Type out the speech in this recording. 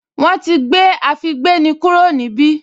Wọ́n ti gbé àfígbéni kúrò níbí